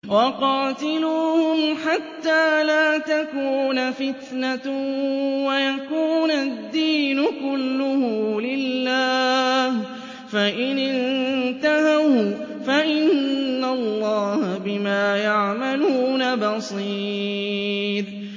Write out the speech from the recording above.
وَقَاتِلُوهُمْ حَتَّىٰ لَا تَكُونَ فِتْنَةٌ وَيَكُونَ الدِّينُ كُلُّهُ لِلَّهِ ۚ فَإِنِ انتَهَوْا فَإِنَّ اللَّهَ بِمَا يَعْمَلُونَ بَصِيرٌ